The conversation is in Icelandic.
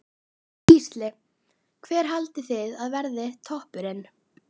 Gísli: Hver haldið þið að verði toppurinn?